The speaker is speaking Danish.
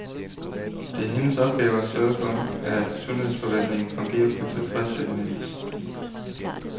Det er hendes opgave at sørge for, at sundhedsforvaltningen fungerer på tilfredsstillende vis.